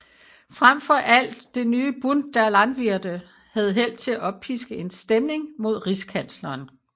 Frem for alt det nye Bund der Landwirte havde held til at oppiske en stemning mod rigskansleren